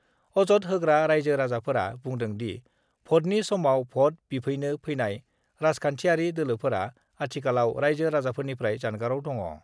अजद होग्रा राइजो-राजाफोरा बुंदोंदि, भटनि समाव भट बिफैनो फैनाय राजखान्थियारि दोलोफोरा आथिखालाव राइजो- राजाफोरनिफ्राय जानगाराव दङ।